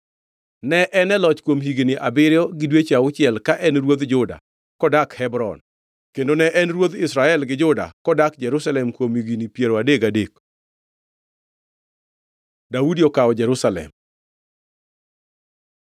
Ne en e loch kuom higni abiriyo gi dweche auchiel ka en ruodh Juda kodak Hebron kendo ne en ruodh Israel gi Juda kodak Jerusalem kuom higni piero adek gadek. Daudi okawo Jerusalem